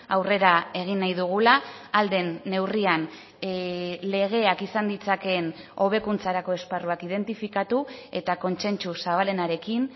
aurrera egin nahi dugula ahal den neurrian legeak izan ditzakeen hobekuntzarako esparruak identifikatu eta kontsentsu zabalenarekin